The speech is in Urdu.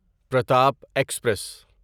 پرتاپ ایکسپریس